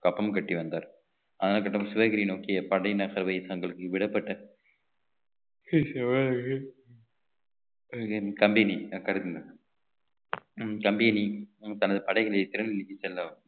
கப்பம் கட்டி வந்தார் ஆனால் கட்டபொம்மன் சிவகிரி நோக்கிய படையின் நகர்வை தங்களுக்கு விடப்பட்ட என் company company தனது படைகளை திறந்து வைத்துச் செல்ல